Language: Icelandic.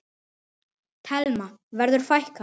Telma: Verður fækkað?